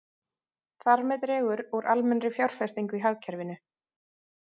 Þar með dregur úr almennri fjárfestingu í hagkerfinu.